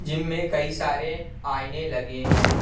Gym में कई सारे आईने लगे हैं।